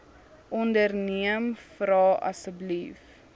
onderneem vra asseblief